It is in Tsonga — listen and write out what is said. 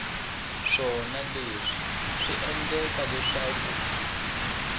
swona leswi swi endleke leswaku